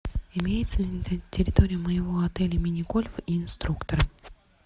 имеется ли на территории моего отеля мини гольф и инструктор